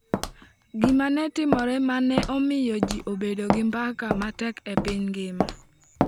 Gima ne otimore ma ne omiyo ji obedo gi mbaka matek e piny mangima.